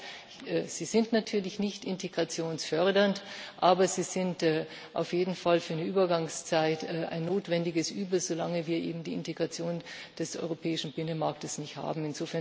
Ich weiß, sie sind natürlich nicht integrationsfördernd, aber sie sind auf jeden Fall für eine Übergangszeit ein notwendiges Übel, solange wir eben die Integration des europäischen Binnenmarktes nicht haben.